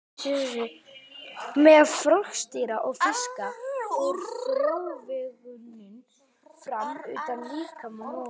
Meðal froskdýra og fiska fer frjóvgunin fram utan líkama móður.